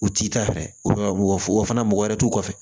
U t'i ta fɛ mɔgɔ fana mɔgɔ wɛrɛ t'u kɔfɛ